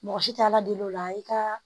Mɔgɔ si tɛ ala deli o la i ka